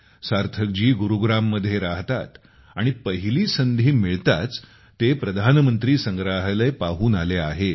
सार्थक जी गुरुग्राममध्ये राहतात आणि पहिली संधी मिळताच ते प्रधानमंत्री संग्रहालय पाहून आले आहेत